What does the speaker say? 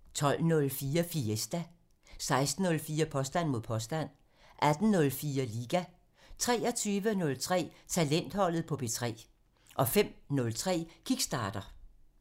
12:04: Fiesta (Afs. 51) 16:04: Påstand mod påstand (Afs. 164) 18:04: Liga 23:03: Talentholdet på P3 (Afs. 51) 05:03: Kickstarter (Afs. 44)